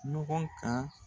ɲɔgɔn kan.